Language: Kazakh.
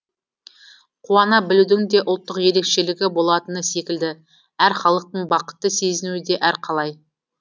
қуана білудің де ұлттық ерекшелігі болатыны секілді әр халықтың бақытты сезінуі де әр қалай